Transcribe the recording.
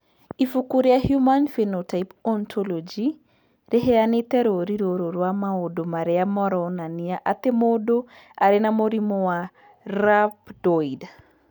Ibuku rĩa Human Phenotype Ontology rĩheanĩte rũũri rũrũ rwa maũndũ marĩa maronania atĩ mũndũ arĩ na mũrimũ wa Rhabdoid.